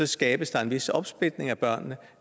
skabes der en vis opsplitning af børnene